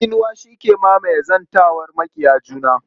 Tsinuwa shi ke mamaye zantawar maƙiya juna.